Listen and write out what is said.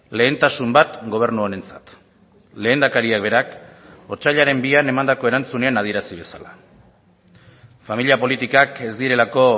lehentasun bat gobernu honentzat lehendakariak berak otsailaren bian emandako erantzunean adierazi bezala familia politikak ez direlako